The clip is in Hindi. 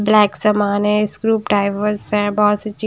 ब्लैक सामान है स्क्रूप टाइवर्स है बहुत सी चीज --